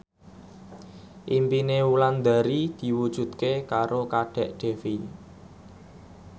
impine Wulandari diwujudke karo Kadek Devi